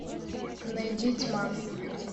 найди тьма